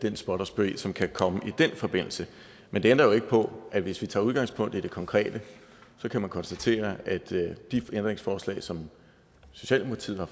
den spot og spe som kan komme i den forbindelse men det ændrer jo ikke på at hvis vi tager udgangspunkt i det konkrete kan man konstatere at de ændringsforslag som socialdemokratiet har